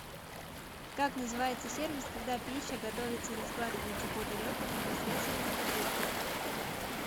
как называется сервис когда пища готовится и раскладывается по тарелкам непосредственно на кухне